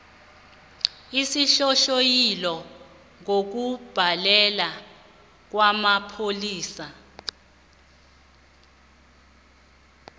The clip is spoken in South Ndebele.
isinghonghoyilo ngokubhalelwa kwamapholisa